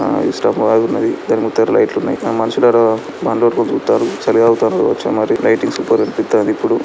Stove ఆగున్నది దాని ముందర లైట్ ట్లు ఉన్నాయి మనుషులు మంటలు పెట్టుకొని చూస్తార్రు చలి కాగుతార్రు కావచ్చు మరి లైటింగ్ సూపర్ కనిపిస్తుంది ఇప్పుడు.